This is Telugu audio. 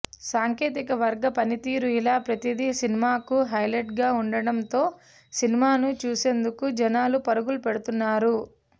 సాంకేతిక వర్గ పనితీరు ఇలా ప్రతిదీ సినిమాకు హైలైట్ గా ఉండడం తో సినిమాను చూసేందుకు జనాలు పరుగులు పెడుతున్నారు